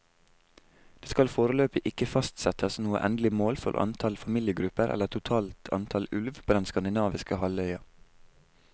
Det skal foreløpig ikke fastsettes noe endelig mål for antall familiegrupper eller totalt antall ulv på den skandinaviske halvøya.